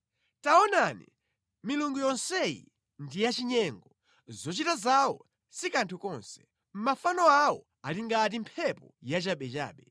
Taonani, milungu yonseyi ndi yachinyengo! Zochita zawo si kanthu konse; mafano awo ali ngati mphepo yachabechabe.